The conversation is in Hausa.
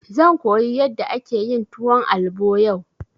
Zan koyi yadda ake yin tuwon albo yau.